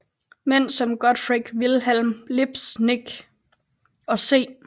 Mænd som Gottfried Wilhelm Leibniz og C